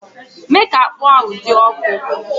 Mee ka akpu ahụ dị ọkụ!